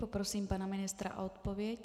Poprosím pana ministra o odpověď.